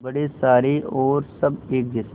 बड़े सारे और सब एक जैसे